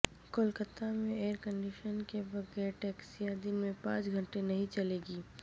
کولکتہ میں air conditioner کے بغیر ٹیکسیاں دن میں پانچ گھنٹے نہیں چلیں گی